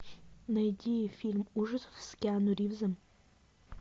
найди фильм ужасов с киану ривзом